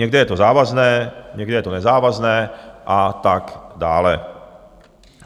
Někde je to závazné, někde je to nezávazné a tak dále.